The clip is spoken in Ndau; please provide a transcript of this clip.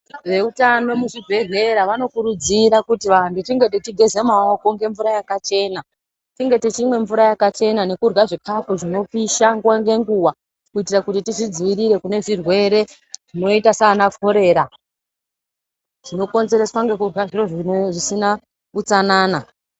Veutano muzvibhedhlera vanokurudzira kuti vanhu tinge tichigeze maoko ngemvura yakachena tinge tichimwe mvura yakachena nekurya zvikaFu zvinopusha nguwa ngenguwa kuitira kuti tizvidzivirire kune zvirwere zvinoita saana korera zvinokonzereswa ngekurya zviro zvino zvisina utsanana.